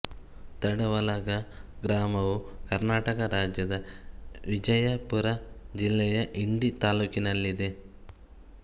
ತಡವಲಗಾ ಗ್ರಾಮವು ಕರ್ನಾಟಕ ರಾಜ್ಯದ ವಿಜಯಪುರ ಜಿಲ್ಲೆಯ ಇಂಡಿ ತಾಲ್ಲೂಕಿನಲ್ಲಿದೆ